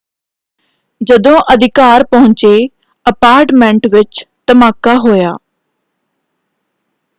ਜਦੋਂ ਅਧਿਕਾਰ ਪਹੁੰਚੇ ਅਪਾਰਟਮੈਂਟ ਵਿੱਚ ਧਮਾਕਾ ਹੋਇਆ।